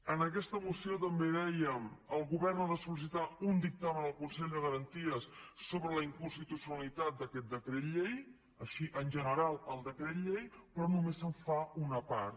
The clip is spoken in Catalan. en aquesta moció també dèiem el govern ha de sol·licitar un dictamen al consell de garanties sobre la inconstitucionalitat d’aquest decret llei així en general el decret llei però només se’n fa una part